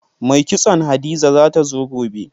Mai kitson Hadiza za ta zo gobe.